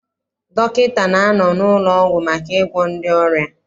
Dọkịta na-anọ n'ụlọọgwụ maka ịgwọ ndị ọrịa.